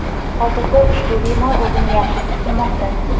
hozirda ushbu bemor o‘zini yaxshi his qilmoqda.